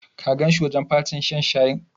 Ka ganshi a wajen fatin shan shayin?